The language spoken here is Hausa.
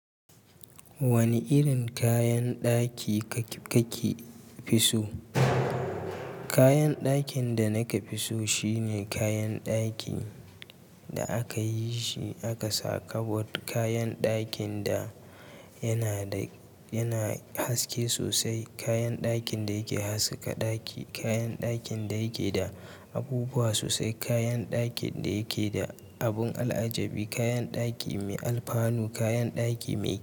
Wani irin kayan ɗaki kake fi so? Kayan ɗakin da naka fisu shine kayan ɗaki da aka yi shi aka saka bot, kayan ɗakin da yana da yana haske sosai, kayan ɗakin da yake haskaka ɗaki, kayan ɗakin da yake da abubuwa sosai, kayan ɗakin da yake da abun al'ajabi, kayan ɗaki mai alfanu, kayan ɗaki mai.